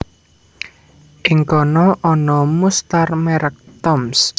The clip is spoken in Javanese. Ing kana ana mustar merek Toms